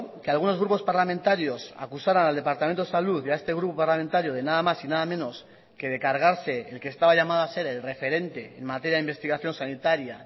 que algunos grupos parlamentarios acusaran al departamento de salud y a este grupo parlamentario de nada más y nada menos que de cargarse el que estaba llamado a ser el referente en materia de investigación sanitaria